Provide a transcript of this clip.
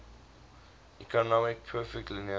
atomically perfect linear